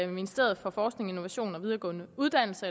ministeren for forskning innovation og videregående uddannelser